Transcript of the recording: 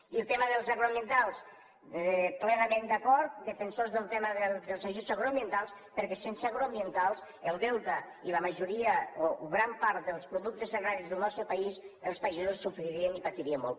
i amb el tema dels agroambientals plenament d’acord defensors del tema dels ajuts agroambientals perquè sense agroambientals el delta i la majoria o gran part dels productes agraris del nostre país els pagesos sofririen i patirien molt